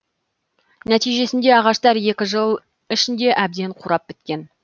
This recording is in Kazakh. нәтижесінде ағаштар екі жыл ішінде әбден қурап біткен